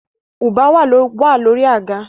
Ubwa wà lórí àga